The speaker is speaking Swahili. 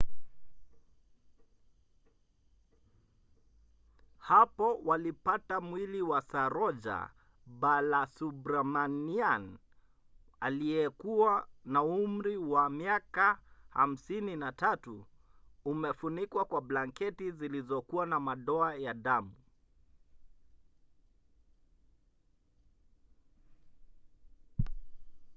hapo walipata mwili wa saroja balasubramanian aliyekuwa na umri wa miaka 53 umefunikwa kwa blanketi zilizokuwa na madoa ya damu